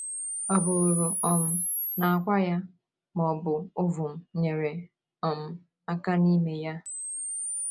Ọ bụrụ um na akwa ya, ma ọ bụ ovum, nyere um aka n’ime ya?